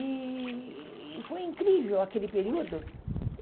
E e foi incrível aquele período.